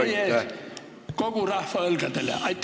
... või jäävad need kogu meie rahva õlgadele?